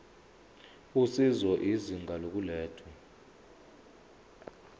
usizo izinga lokulethwa